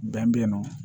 Bɛn bɛ yen nɔ